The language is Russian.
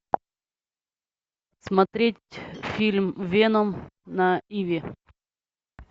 смотреть фильм веном на иви